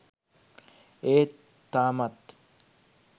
ඒත් තාමත්